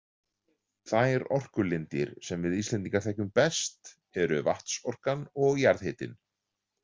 Þær orkulindir sem við Íslendingar þekkjum best eru vatnsorkan og jarðhitinn.